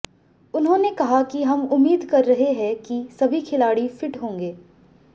उन्होंने कहा कि हम उम्मीद कर रहे हैं कि सभी खिलाड़ी फिट होंगे